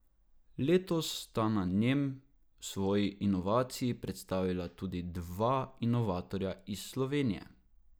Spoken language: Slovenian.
Letos sta na njem svoji inovaciji predstavila tudi dva inovatorja iz Slovenije.